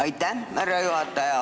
Aitäh, härra juhataja!